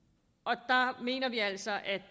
og der mener vi altså at